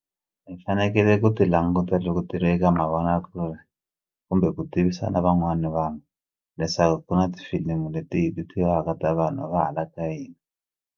Hi fanekele ku ti languta loko ti ri eka mavonakule kumbe ku tivisa na van'wani vanhu leswaku ku na tifilimi leti act-iwaka ta vanhu va hala ka hina.